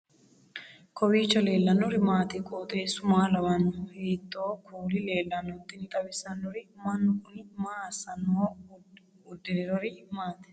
kowiicho leellannori maati ? qooxeessu maa lawaanno ? hiitoo kuuli leellanno ? tini xawissannori mannu kuni maa assannoho uddirinori maati